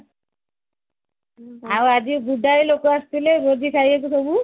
ଆଉ ଆଜି ଗୁଡାଏ ଲୋକ ଆସିଥିଲେ ଭୋଜି ଖାଇବାକୁ ସବୁ